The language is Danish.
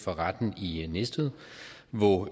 for retten i næstved hvor